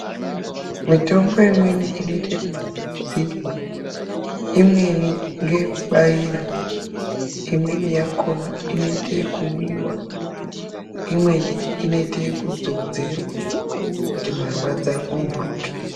Mitombo imweni inoita yeku pfapfaidzirwa, imweni nge yekubaira, imweni yakona inoite yekumwiwa, imweni inoite yeku dzodzerwa kuti marwadzo apu mburuke.